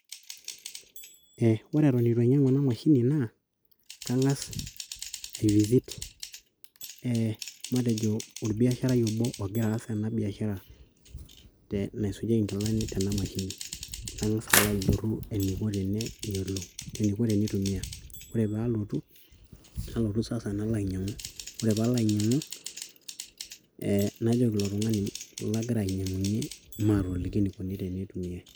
Ore eton eitu ainyang'u enamashini naa, kang'as ai visit e matejo orbiasharai obo ogira aas enabiashara naisujieki inkilani tena mashini. Nang'asa alo ajorru eniko teneyiolo eniko teneitumia. Ore palotu, nalotu sasa nalo ainyang'u. Ore palo ainyang'u, eh najoki ilo tung'anai lagira ainyang'unye maatoliki enikuni teneitumiai.